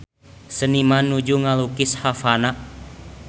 Seniman nuju ngalukis Havana